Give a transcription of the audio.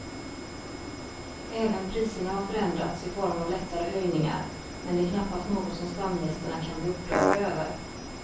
Även priserna har förändrats i form av lättare höjningar men det är knappast något som stamgästerna kan bli upprörda över.